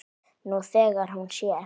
Nú þegar hún sér.